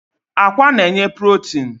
Akwa na-enye protin